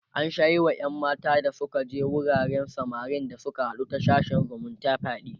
an Sha Yi Wa ƴan mata da Suka je wuraren samarin da Suka haɗu da ta sashen zumunta fyaɗe